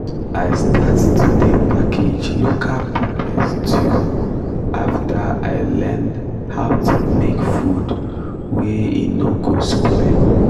i start to dey package local pepper stew after i learn how to make food wey e no go spoil